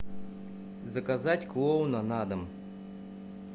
заказать клоуна на дом